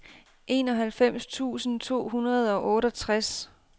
enoghalvfems tusind to hundrede og otteogtres